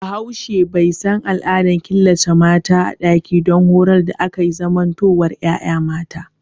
Bahaushe bai san al'adar killace mata a ɗaki don horar da akan zamantowar yaya mata